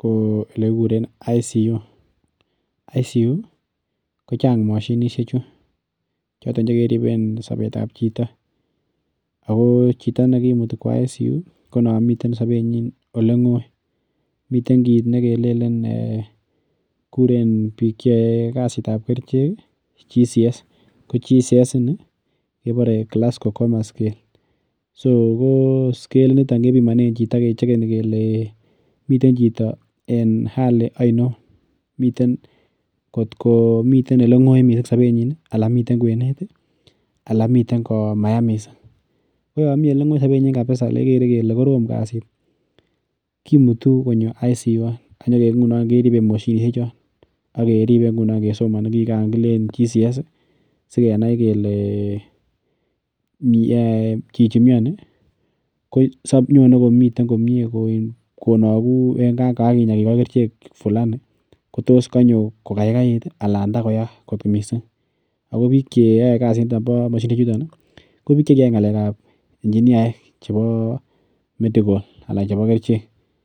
ko ele kikuren intensive care unit intensive care unit ko chang mashinisie chu choton kekeriben sobetab chito ako chito nekimute kwo intensive care unit komomiten sobenyin oleng'oi kuren bik cheyoe kasitab kerichek glasco coma scale ko scalit nito kebimone chito kechegeni keleemiten chito en Hali ainon kot ko miten eleng'oi missing sobet nyin anan miten kwenet anan miten komaya missing koya mi eleng'oi missing sobenyin kimutu konyo intensive care unit ngunon keriben moshinishen chon akeribe kesomani kiigan glasco coma scale miten konagu yegan kikoi kerichek anan koya kot missing ako bik cheyoe kasit nito ko bik chekiyai ng'alekab enchiniaek kerichek chebo